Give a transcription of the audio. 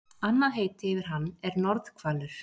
Annað heiti yfir hann er norðhvalur.